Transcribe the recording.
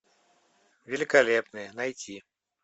великолепные найти